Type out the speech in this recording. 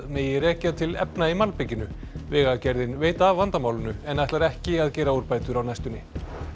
megi rekja til efna í malbikinu vegagerðin veit af vandamálinu en ætlar ekki að gera úrbætur á næstunni